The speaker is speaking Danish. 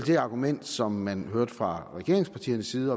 det argument som man hørte fra regeringspartiernes side